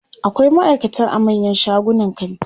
akwai maaikata a manyan shagunan kanti